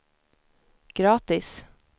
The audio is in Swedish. gratis